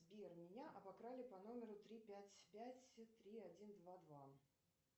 сбер меня обокрали по номеру три пять пять три один два два